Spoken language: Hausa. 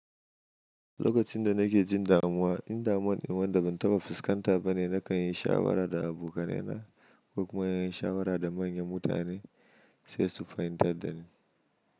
Lokacin da nake jin damuwa, in damuwan nawa da ban taɓa fuskanta bane, na kan yi shawara da abokanai na ko kuma na yi shawara da manyan mutane sai su fahimtar da ni.